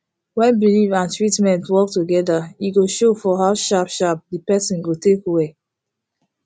when belief and treatment work together e go show for how sharp sharp the person go take well